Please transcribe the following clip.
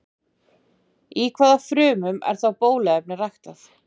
Í hvaða frumum er þá bóluefnið ræktað?